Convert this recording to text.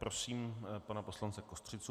Prosím pana poslance Kostřicu.